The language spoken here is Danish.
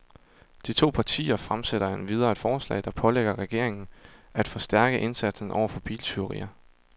De to partier fremsætter endvidere et forslag, der pålægger regeringen af forstærke indsatsen over for biltyverier.